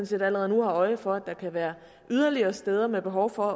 set allerede nu har øje for at der kan være yderligere steder med behov for at